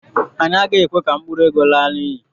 anyị agaghị ekwe ka mkpụrụ ego laa n'iyi.